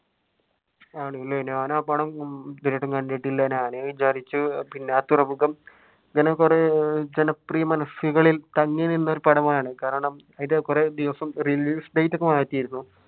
ആണല്ലേ ഞാൻ ആ പടം ഇതുവരെയായിട്ടും കണ്ടിട്ടില്ല. ഞാൻ വിചാരിച്ചു പിന്നെ തുറമുഖം ജനം കുറയെ ജനപ്രിയ മനസുകളിൽ തങ്ങി നിന്ന ഒരു പടമാണ് കാരണം കുറെ ദിവസം